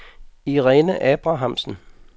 Irene Abrahamsen